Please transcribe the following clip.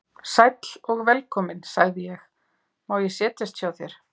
Sæll og velkominn, sagði ég, má ég setjast hjá þér.